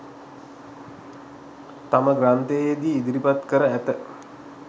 තම ග්‍රන්ථයේ දී ඉදිරිපත් කර ඇත.